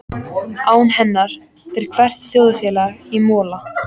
Án hennar fer hvert þjóðfélag í mola.